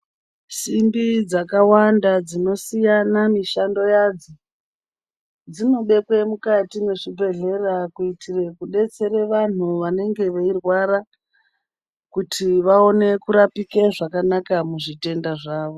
Simbi dzakawanda dzinosiyana mishando yadzo dzinodekwe mukati mezvibhedhera kuitira kubetsere vanenge verwara kuti vaone kurapika zvakanaka muzvitenda zvavo.